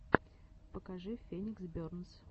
покажи феникс бернс